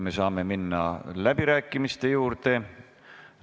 Me saame minna läbirääkimiste juurde.